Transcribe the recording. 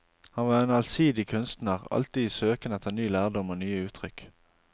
Han var en allsidig kunstner alltid i søken etter ny lærdom og nye uttrykk.